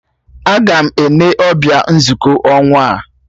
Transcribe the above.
Agam Ene ọbịa nzukọ ọnwa a